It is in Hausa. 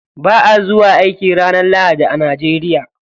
Ba'a zuwa aiki ranar lahadi a Najeriya.